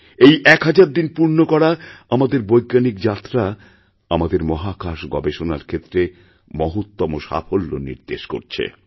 এই এক হাজার দিনপূর্ণ করা আমাদের বৈজ্ঞানিক যাত্রা আমাদের মহাকাশ গবেষণার ক্ষেত্রে মহত্তম সাফল্যনির্দেশ করছে